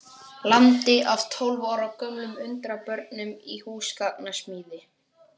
landi af tólf ára gömlum undrabörnum í húsgagnasmíði.